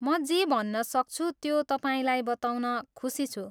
म जे भन्नसक्छु त्यो तपाईँलाई बताउन खुसी छु।